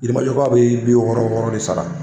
Yirimajɔkaw bɛ bi wɔɔrɔ wɔɔrɔ de sara.